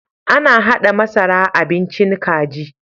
Ana haɗa masara a bincin kaji.